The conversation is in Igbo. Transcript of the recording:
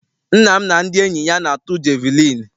Nna m na ndị enyi ya na-atụ jeviliini.